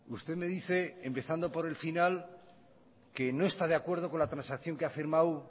usted me dice empezando por el final que no está de acuerdo con la transacción que ha firmado